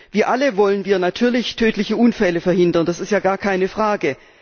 Wie alle wollen wir natürlich tödliche Unfälle verhindern, das ist ja gar keine Frage.